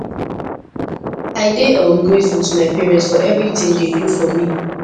i dey um grateful to my parents for everything dey do for me